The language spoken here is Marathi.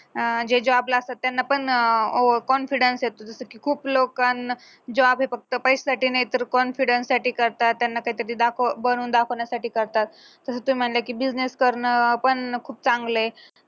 अं जे job ला असतात त्यांना पण over confidence येतो जसं की खूप लोकांना job हे फक्त पैशासाठी नाही तर confidence साठी करतात त्यांना त्याच्यात ते दाखव बनवून दाखवण्यासाठी करतात तर ते म्हणले की business करन खूप चांगल आहे